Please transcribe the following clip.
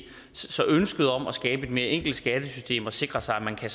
så ønsket om at skabe et mere enkelt skattesystem og sikre sig at man kan